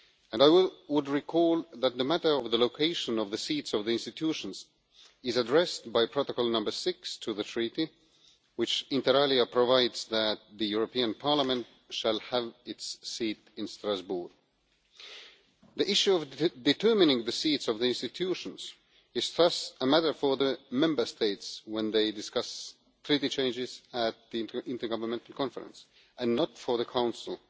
I would remind you that the matter of the location of the seats of the institutions is addressed by Protocol No 6 to Treaty, which inter alia provides that the European Parliament shall have its seat in Strasbourg. The issue of determining the seats of the institutions is thus a matter for the Member States when they discuss treaty changes at the Intergovernmental Conference and not for the Council.